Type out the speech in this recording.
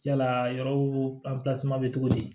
Yala yɔrɔw bɛ cogo di